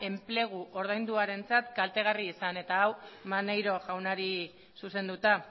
enplegu ordainduarentzat kaltegarria izan eta hau maneiro jaunari zuzenduta